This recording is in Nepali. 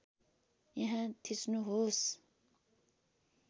यहाँ थिच्नुहोस